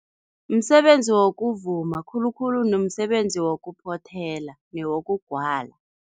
Msebenzi wokuvuma, khulukhulu nomsebenzi wokuphothela newokugwala.